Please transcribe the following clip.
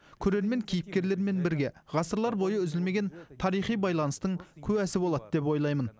көрермен кейіпкерлермен бірге ғасырлар бойы үзілмеген тарихи байланыстың куәсі болады деп ойлаймын